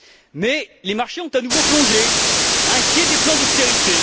Mais les marchés ont à nouveau plongé, inquiets des plans d'austérité.